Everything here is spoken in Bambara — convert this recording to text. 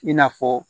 I n'a fɔ